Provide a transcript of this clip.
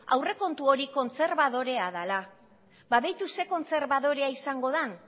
aurrekontu hori kontserbadorea dela ba beitu ze kontserbadorea izango den